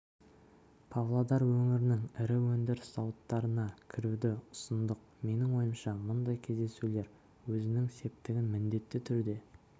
павлодар өңірінің ірі өндіріс зауыттарына кіруді ұсындық менің ойымша мұндай кездесулер өзінің септігін міндетті түрде